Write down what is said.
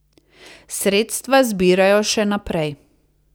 Sredstva zbirajo še naprej.